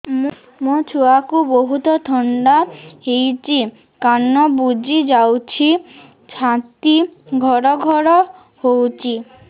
ମୋ ଛୁଆକୁ ବହୁତ ଥଣ୍ଡା ହେଇଚି ନାକ ବୁଜି ଯାଉଛି ଛାତି ଘଡ ଘଡ ହଉଚି